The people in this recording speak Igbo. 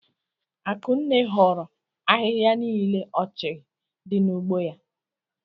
Akụnne horo ahịhịa nile ọchịghị di n'ugbo ya.